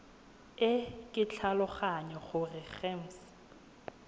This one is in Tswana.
e ke tlhaloganya gore gems